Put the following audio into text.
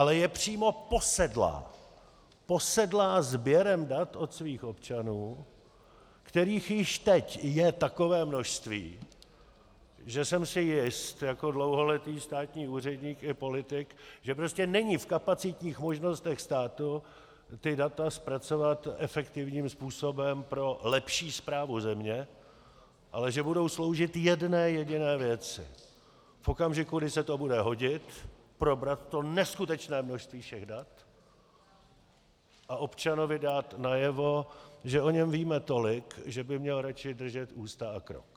Ale je přímo posedlá, posedlá sběrem dat od svých občanů, kterých již teď je takové množství, že jsem si jist jako dlouholetý státní úředník i politik, že prostě není v kapacitních možnostech státu ta data zpracovat efektivním způsobem pro lepší správu země, ale že budou sloužit jedné jediné věci: V okamžiku, kdy se to bude hodit, probrat to neskutečné množství všech dat a občanovi dát najevo, že o něm víme tolik, že by měl radši držet ústa a krok.